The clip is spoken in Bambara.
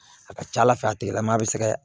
A ka ca ala fɛ a tigilamɔgɔ bɛ se ka